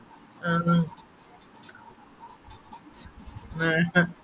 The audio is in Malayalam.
ആഹ് വേണ്ട